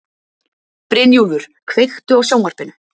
Brynjúlfur, kveiktu á sjónvarpinu.